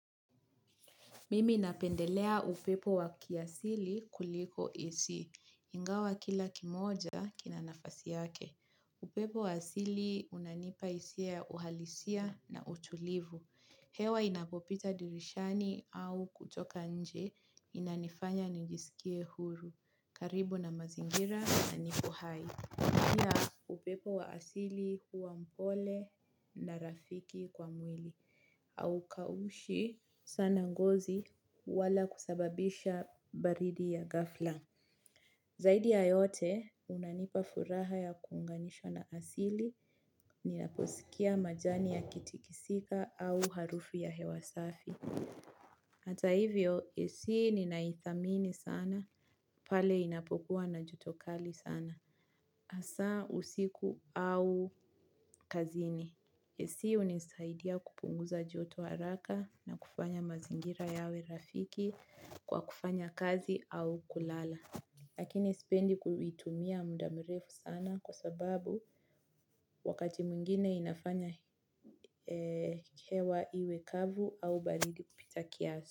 Mimi napendelea upepo wa kiasili kuliko AC. Ingawa kila kimoja kina nafasi yake. Upepo wa asili unanipa hisia ya uhalisia na utulivu. Hewa inapopita dirishani au kutoka nje inanifanya nijisikie huru. Karibu na mazingira na nipo hai. Pia upepo wa asili huwa mpole na rafiki kwa mwili. Haukaushi sana ngozi wala kusababisha baridi ya ghafla. Zaidi ya yote unanipa furaha ya kuunganishwa na asili ninaposikia majani yakitikisika au harufu ya hewa safi. Hata hivyo, AC ninaidhamini sana, pale inapokuwa na joto kali sana. Hasa usiku au kazini. AC hunisaidia kupunguza joto haraka na kufanya mazingira yawe rafiki kwa kufanya kazi au kulala. Lakini sipendi kuitumia muda mrefu sana kwa sababu wakati mwingine inafanya hewa iwe kavu au baridi kupita kiasi.